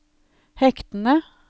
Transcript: hektene